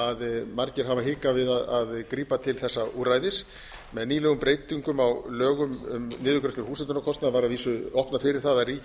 að margir hafa hikað við að grípa til þessa úrræðis með nýlegum breytingum á lögum um niðurgreiðslu húshitunarkostnaðar var að vísu opnað fyrir það að ríkið gæti